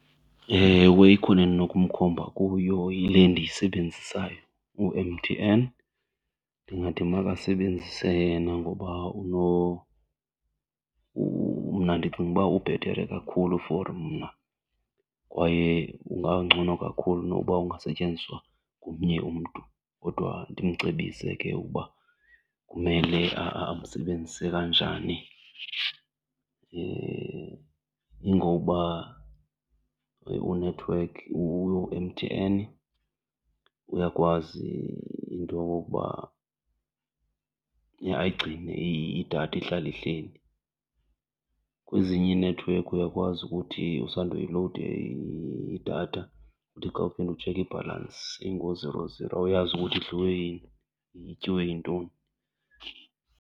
Ewe, ikhona endinokumkhomba kuyo yile ndiyisebenzisayo, u-M_T_N. Ndingathi makasebenzise yena ngoba mna ndicinga uba ubhetere kakhulu for mna kwaye ungangcono kakhulu noba ungasetyenziswa ngomnye umntu kodwa ndimcebise ke ukuba kumele amsebenzise kanjani. Ingoba u-network, u-M_T_N uyakwazi into yokokuba ayigcine idatha ihlale ihleli, kwezinye inethiwekhi uyakwazi ukuthi usandoyilowuda idatha uthi xa uphinda utshekha ibhalansi ingooziro ziro awuyazi ukuthi idliwe yini, ityiwe yintoni.